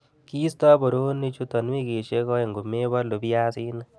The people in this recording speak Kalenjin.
Kiisto boroonichuton wikisiek oeng komebolu biaisinik.